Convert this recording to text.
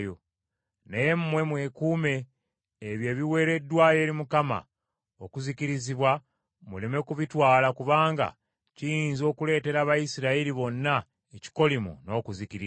Naye mmwe mwekuume ebyo ebiweereddwayo eri Mukama okuzikirizibwa muleme kubitwala kubanga kiyinza okuleetera Abayisirayiri bonna ekikolimo n’okuzikirira.